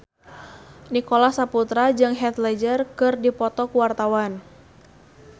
Nicholas Saputra jeung Heath Ledger keur dipoto ku wartawan